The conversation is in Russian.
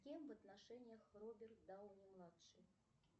с кем в отношениях роберт дауни младший